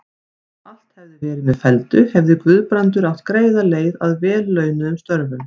Ef allt hefði verið með felldu, hefði Guðbrandur átt greiða leið að vel launuðum störfum.